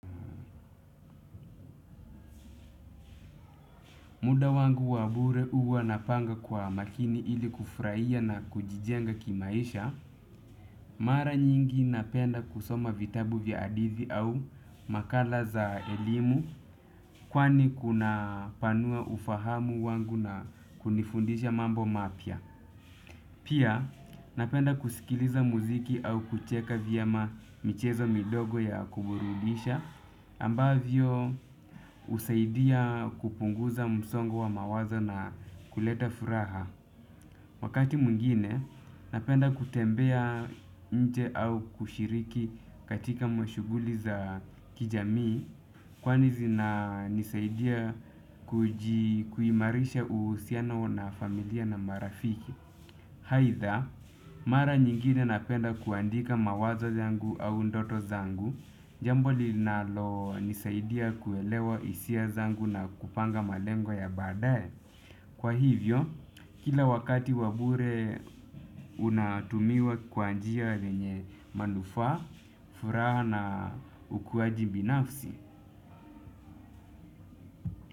Muda wangu wa bure huwa napanga kwa makini ili kufurahia na kujijenga kimaisha. Mara nyingi napenda kusoma vitabu vya hadithi au makala za elimu kwani kunapanua ufahamu wangu na kunifundisha mambo mapya. Pia napenda kusikiliza muziki au kucheka vyema michezo midogo ya kuburudisha ambavyo husaidia kupunguza msongo wa mawazo na kuleta furaha. Wakati mwingine napenda kutembea nje au kushiriki katika mashuguli za kijamii kwani zina nisaidia kuji kuimarisha uhusianao na familia na marafiki. Aidha, mara nyingine napenda kuandika mawazo zangu au ndoto zangu, jambo linalo nisaidia kuelewa hisia zangu na kupanga malengo ya badae. Kwa hivyo, kila wakati wa bure unatumiwa kwa njia lenye manufa, furaha na ukuwaji binafsi.